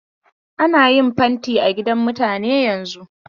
Ana yin fanti a gidan mutane yanzun.